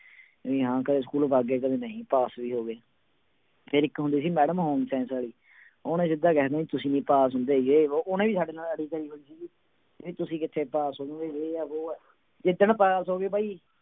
ਵੀ ਹਾਂ ਘਰੇ ਸਕੂਲੋਂ ਵਗ ਗਏ ਕਦੇ ਨਹੀਂ ਪਾਸ ਵੀ ਹੋ ਗਏ ਫਿਰ ਇੱਕ ਹੁੰਦੇ ਸੀ madam home science ਵਾਲੀ ਉਹਨੇ ਸਿੱਧਾ ਕਹਿ ਦੇਣਾ ਤੁਸੀਂ ਨੀ ਪਾਸ ਹੁੰਦੇ ਜੇ ਵੋਹ ਉਹਨਾਂ ਦੀ ਸਾਡੇ ਨਾਲ ਅੜੀ ਪਈ ਹੋਈ ਸੀਗੀ ਕਹਿੰਦੀ ਤੁਸੀਂ ਕਿੱਥੇ ਪਾਸ ਹੋ ਜਾਓਗੇ ਜੇ ਹੈ ਵੋਹ ਹੈ, ਜਿੱਦਣ ਪਾਸ ਹੋ ਗਏ ਬਾਈ